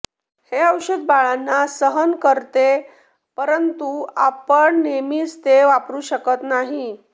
हे औषध बाळांना सहन करते परंतु आपण नेहमीच ते वापरू शकत नाही